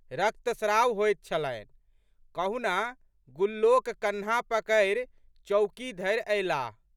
रक्तस्राव होइत छलनि। कहुना गुल्लोक कन्हा पकड़ि चौकी धरि अयलाह।